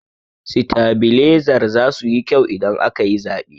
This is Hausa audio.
Sitabilezar zasu yi kyau idan aka yi zaɓe.